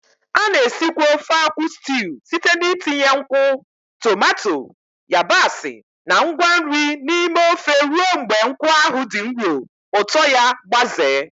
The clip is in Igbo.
A na-esikwa ofe akwu stew site n'itinye nkwụ, tomato, yabasị, na ngwa nri n'ime ofe ruo mgbe nkwụ ahụ dị nro, ụtọ ya gbazee.